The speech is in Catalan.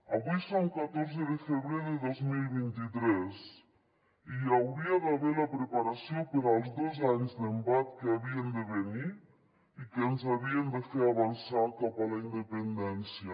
avui som catorze de febrer de dos mil vint tres i hi hauria d’haver la preparació per als dos anys d’embat que havien de venir i que ens havien de fer avançar cap a la independència